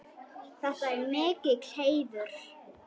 Þetta er mikill heiður.